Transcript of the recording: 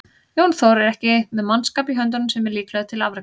Jón Þór er ekki með mannskap í höndunum sem er líklegur til afreka.